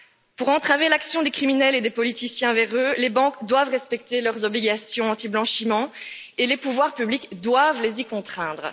Pour entraver l'action des criminels et des politiciens véreux, les banques doivent respecter leurs obligations anti blanchiment et les pouvoirs publics doivent les y contraindre.